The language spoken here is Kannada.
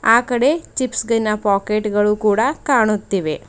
ಆಕಡೆ ಗಿನ ಪೋಕೆಟ್ ಗಳು ಕೂಡ ಕಾಣುತ್ತಿವೆ.